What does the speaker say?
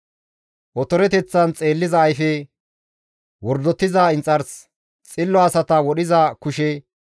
Otoreteththan xeelliza ayfe, wordotiza inxars, xillo asata wodhiza kushe,